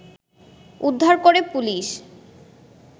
উদ্ধার করে পুলিশ